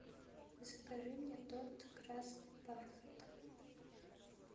закажи мне торт красный бархат